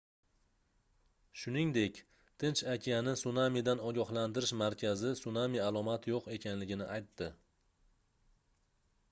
shuningdek tinch okeani sunamidan ogohlantirish markazi sunami alomati yoʻq ekanligini aytdi